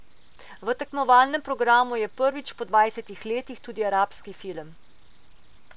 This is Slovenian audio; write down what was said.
V tekmovalnem programu je prvič po dvajsetih letih tudi arabski film.